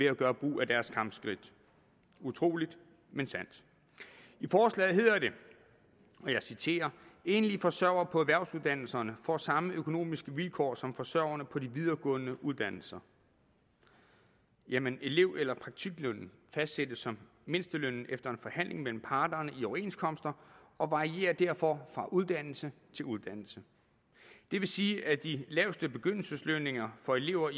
at gøre brug af deres kampskridt utroligt men sandt i forslaget hedder det og jeg citerer enlige forsørgere på erhvervsuddannelserne får samme økonomiske vilkår som forsørgerne på de videregående uddannelser jamen elev eller praktiklønnen fastsættes som mindstelønnen efter en forhandling mellem parterne i overenskomster og varierer derfor fra uddannelse til uddannelse det vil sige at de laveste begyndelseslønninger for elever